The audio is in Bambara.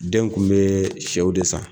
Den kun be sɛw de san.